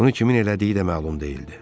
Bunu kimin elədiyi də məlum deyildi.